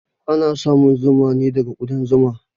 Ana samun zuma ne daga ƙudan zuma.